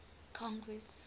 congress